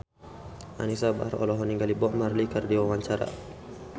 Anisa Bahar olohok ningali Bob Marley keur diwawancara